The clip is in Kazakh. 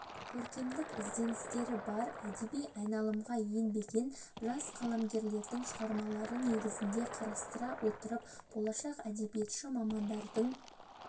көркемдік ізденістері бар әдеби айналымға енбеген жас қаламгерлердің шығармалары негізінде қарастыра отырып болашақ әдебиетші мамандардың